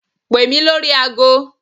Pè mí lórí agọ.